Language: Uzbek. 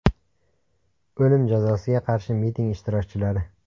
O‘lim jazosiga qarshi miting ishtirokchilari.